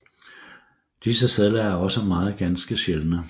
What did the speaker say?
Disse sedler er også meget ganske sjældne